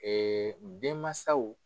denmansaw.